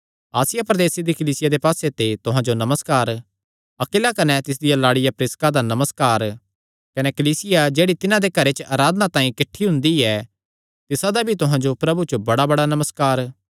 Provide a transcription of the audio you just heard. आसिया प्रदेसे दी कलीसियां दे पास्से ते तुहां जो नमस्कार अक्विला कने तिसदिया लाड़िया प्रिसका दा नमस्कार कने कलीसिया जेह्ड़ी तिन्हां दे घरे च अराधना तांई किठ्ठी हुंदी तिसादा भी तुहां जो प्रभु च बड़ाबड़ा नमस्कार